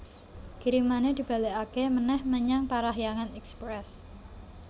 Kirimane dibalekake meneh menyang Parahyangan Express